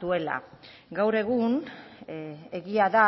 duela gaur egun egia da